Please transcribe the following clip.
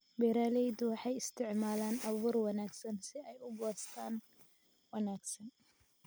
Beeraleydu waxay u isticmaalaan abuur wanaagsan si ay u goostaan ??wanaagsan.